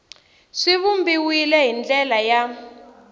swi vumbiwile hi ndlela ya